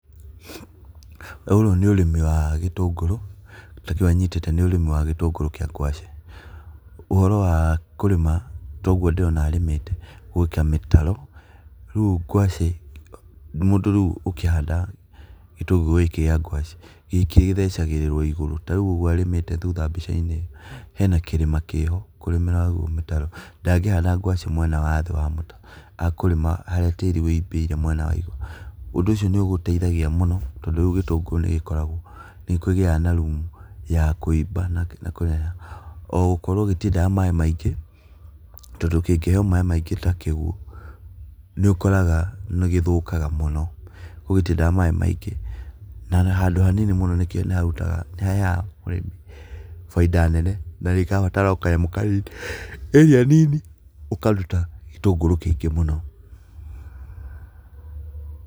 Ũrũ nĩ ũrĩmi wa gĩtũngũrũ, kĩndũ ta kĩu anyitĩte nĩ ũrĩmi wa gĩtũngũrũ kĩa ngwacĩ. Ũhoro wa kũrĩma ta ũguo ndĩrona arĩmĩte gwĩkĩra mĩtaro, rĩu ngwacĩ mũndũ rĩu ũkĩhanda gĩtũngũrũ gĩkĩ kĩa ngwacĩ, gĩkĩ gĩthecagĩrĩrwo igũrũ, ta rĩu ũguo arĩmĩte thutha mbica-inĩ, hena kĩrĩma kĩho kũrĩmĩra mĩtaro, ndangĩhanda ngwacĩ mwena wa thĩ wa mũtaro, akũrĩma harĩa tĩri wĩimbĩire mwena wa igũrũ. Ũndũ ũcio nĩũgĩteithagia mũno tondũ rĩu gĩtũngũrũ nĩgĩkoragwo nĩkĩgĩaga na rumu ya kwĩimba na kĩrĩa, ona gũkorwo gĩtiendaga maĩ maingĩ, tondũ kĩngĩheo maĩ maĩngĩ ta kĩguo nĩũkoraga nĩgĩthũkaga mũno, ũguo gĩtiendaga maĩ maingĩ. Na, handũ hanini mũno nĩharutaga nĩhaheaga mũrĩmi bainda nene na gĩkabatara o kanyamũ kanini area nini ũkaruta gĩtũngũrũ kĩingĩ mũno.